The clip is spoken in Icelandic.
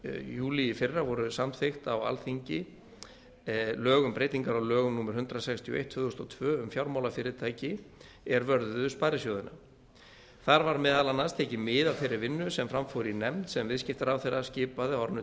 júlí í fyrra voru samþykkt á alþingi lög um breytingar á lögum númer hundrað sextíu og eitt tvö þúsund og tvö um fjármálafyrirtæki er vörðuðu sparisjóðina þar var meðal annars tekið mið af þeirri vinnu sem fram fór í nefnd sem viðskiptaráðherra skipaði á árinu